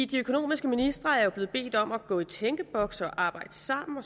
de økonomiske ministre er jo blevet bedt om at gå i tænkeboks og arbejde sammen